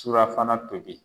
Surafana tobi .